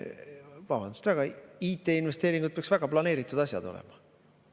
Vabandust väga, IT-investeeringud peaks väga planeeritud asjad olema.